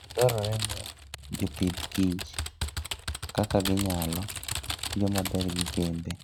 Dwarore ni jopith kich kaka ginyalo tiyo maber gi kembe.